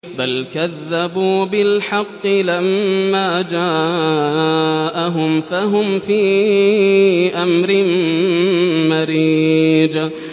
بَلْ كَذَّبُوا بِالْحَقِّ لَمَّا جَاءَهُمْ فَهُمْ فِي أَمْرٍ مَّرِيجٍ